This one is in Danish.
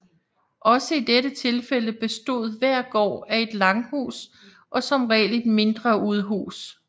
Også i dette tilfælde bestod hver gård af et langhus og som regel et mindre udhus